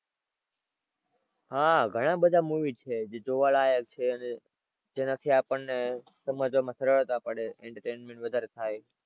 હાં ઘણા બધા movies છે જે જોવા લાયક છે અને જેનાથી આપણને સમજવામાં સરળતા પડે, entertainment વધારે થાય.